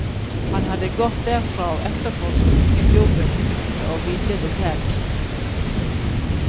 Han hadde gått derfra og etterpå skulket jobben uten åville det selv.